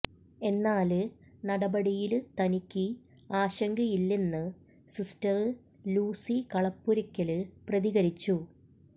എന്നാല് നടപടിയില് തനിക്ക് ആശങ്കയില്ലെന്ന് സിസ്റ്റര് ലൂസി കളപ്പുരയ്ക്കല് പ്രതികരിച്ചു